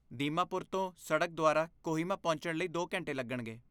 ਦੀਮਾਪੁਰ ਤੋਂ, ਸੜਕ ਦੁਆਰਾ ਕੋਹਿਮਾ ਪਹੁੰਚਣ ਲਈ ਦੋ ਘੰਟੇ ਲੱਗਣਗੇ